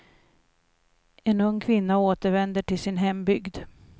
En ung kvinna återvänder till sin hembygd.